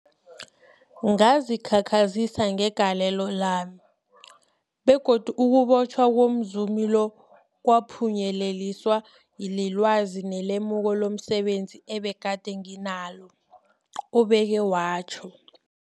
Ngazikhakhazisa ngegalelo lami, begodu ukubotjhwa komzumi lo kwaphunyeleliswa lilwazi nelemuko lomse benzi ebegade nginalo, ubeke watjho.